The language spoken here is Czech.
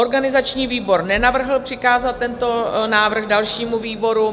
Organizační výbor nenavrhl přikázat tento návrh dalšímu výboru.